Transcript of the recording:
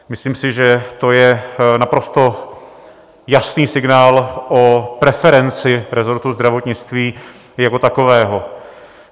Myslím si, že to je naprosto jasný signál o preferenci rezortu zdravotnictví jako takového.